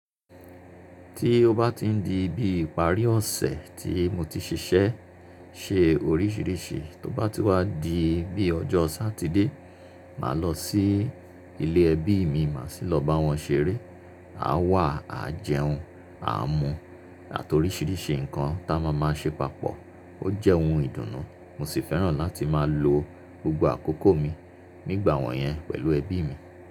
Tí ó bá ti ń di bí ìparí ọ̀sẹ̀ tí mo ti ṣiṣẹ́ ṣe oríṣìíríṣìí, tó bá ti wá di bí ọjọ́ Sátidé, màá lọ sí ilé ẹbí mi, màá sì lọ bá wọn ṣeré. A wà a jẹun, a mu àti oríṣìíríṣìí ǹkan tá a máa máa ṣe papọ̀. Ó jẹ́ ohun ìdùnnú, mo sì fẹ́ràn láti máa lo gbogbo àkókò mi nígbà wọ̀nyẹn pẹ̀lú ẹbí mi.